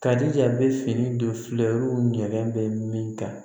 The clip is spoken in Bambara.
Kadija a bɛ fini don fulaw ɲɛnɛn bɛ min kan